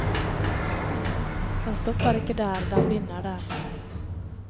Den stopper ikke der, den begynner der.